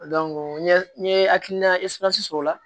n ye n ye hakilina sɔrɔ o la